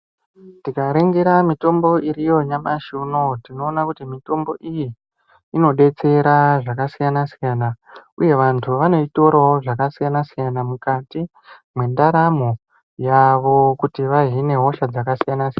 Tikaringira mitombo iriyo nyamashi unowu tinoona kuti mitombo iyi inodetsera zvakasiyana siyana. Uye vantu vanoitorawo zvakasiyana siyana mukati mwendaramo yavo kuti vahine hosha dzakasiyana.